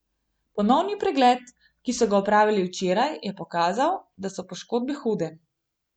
Ponovni pregled, ki so ga opravili včeraj, je pokazal, da so poškodbe hude.